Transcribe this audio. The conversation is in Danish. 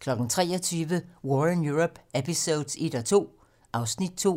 23:00: War in Europe eps.1-2 (Afs. 2)